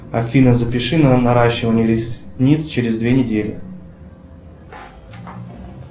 афина запиши на наращивание ресниц через две недели